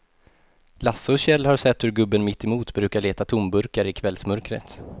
Lasse och Kjell har sett hur gubben mittemot brukar leta tomburkar i kvällsmörkret.